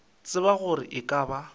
tsebe gore e ka ba